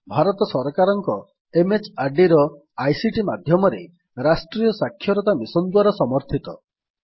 ଏହା ଭାରତ ସରକାରଙ୍କ MHRDର ଆଇସିଟି ମାଧ୍ୟମରେ ରାଷ୍ଟ୍ରୀୟ ସାକ୍ଷରତା ମିଶନ୍ ଦ୍ୱାରା ସମର୍ଥିତ